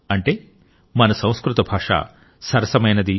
అంటే మన సంస్కృత భాష సరసమైనది